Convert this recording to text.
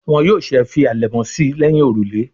Wón yóò ṣe fí alẹmọ sí léhìn òrùlé.